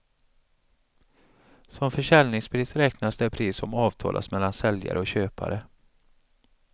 Som försäljningspris räknas det pris som avtalats mellan säljare och köpare.